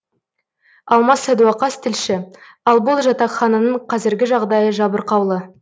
алмас садуақас тілші ал бұл жатақхананың қазіргі жағдайы жабырқаулы